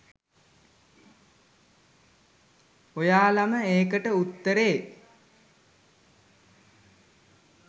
ඔයාලම ඒකට උත්තරේ